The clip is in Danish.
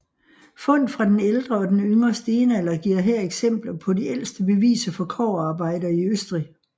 Fund fra den ældre og den yngre stenalder giver her eksempler på de ældste beviser for kobberarbejder i Østrig